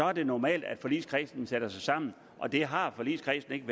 er det normalt at forligskredsen sætter sig sammen og det har forligskredsen ikke